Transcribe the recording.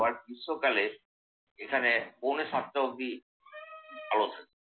আবার গ্রীষ্মকালে এখানে পৌনে সাতটা অবধি আলো থাকে